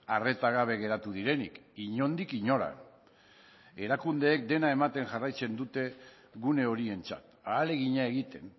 arreta gabe geratu direnik inondik inora erakundeek dena ematen jarraitzen dute gune horientzat ahalegina egiten